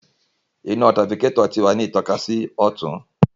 Ina tirafikatọ ti wa ni ntokasi si ọtun